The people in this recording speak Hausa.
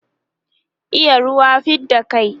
iya ruwa fidda kai